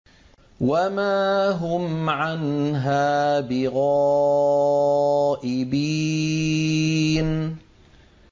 وَمَا هُمْ عَنْهَا بِغَائِبِينَ